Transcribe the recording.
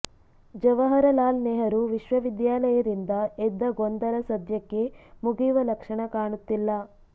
ಜವಾಹರಲಾಲ್ ನೆಹರು ವಿಶ್ವವಿದ್ಯಾಲಯದಿಂದ ಎದ್ದ ಗೊಂದಲ ಸದ್ಯಕ್ಕೆ ಮುಗಿಯುವ ಲಕ್ಷಣ ಕಾಣುತ್ತಿಲ್ಲ